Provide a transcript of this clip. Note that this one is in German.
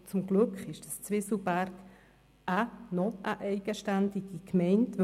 Zum Glück ist Zwieselberg noch eine eigenständige Gemeinde.